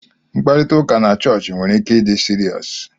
Mkparịta ụka na chọọchị nwere ike ịdi seriousu.